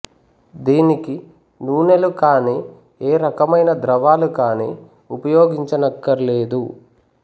దీనికి నూనెలు కానీ ఏ రకమైన ద్రవాలు కానీ ఉపయోగించనక్కర్లేదు